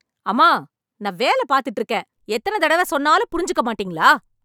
அம்மா, நான் வேலை பார்த்துட்டு இருக்கேன் ! எத்தன தடவ சொன்னாலும் புரிஞ்சுக்க மாட்டீங்களா.